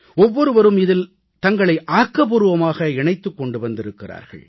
ஒவ்வொருவரும் இதில் தங்களை ஆக்கபூர்வமாக இணைத்துக் கொண்டு வந்திருக்கிறார்கள்